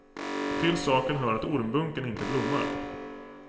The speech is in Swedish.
Till saken hör att ormbunken inte blommar.